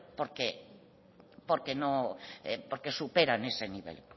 porque superan ese nivel